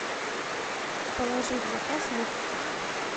положи в заказ лук